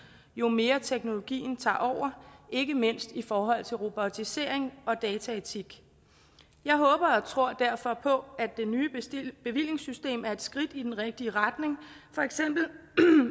jo mere teknologien tager over ikke mindst i forhold til robotisering og dataetik jeg håber og tror derfor på at det nye bevillingssystem er et skridt i den rigtige retning for eksempel